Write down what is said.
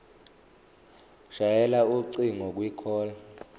shayela ucingo kwicall